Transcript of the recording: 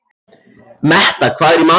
Metta, hvað er í matinn?